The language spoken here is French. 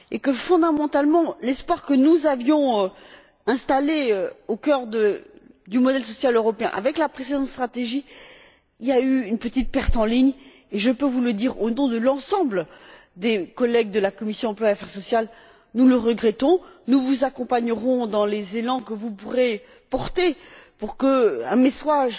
Que, fondamentalement, en dépit de l'espoir que nous avions placé dans le modèle social européen, avec la précédente stratégie, il y a eu une petite perte en ligne et je peux vous le dire, au nom de l'ensemble des collègues de la commission de l'emploi et des affaires sociales nous le regrettons. Nous vous accompagnerons dans les impulsions que vous pourrez apporter pour qu'un message